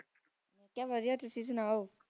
ਕਿਆ ਕਰ ਰੇ ਓ ਹੋ ਤੁਸੀਂ ਸੁਣਾਓ